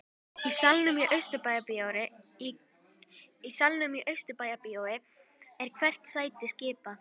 Í salnum í Austurbæjarbíói er hvert sæti skipað.